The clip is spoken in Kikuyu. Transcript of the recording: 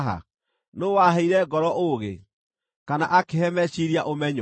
Nũũ waheire ngoro ũũgĩ, kana akĩhe meciiria ũmenyo?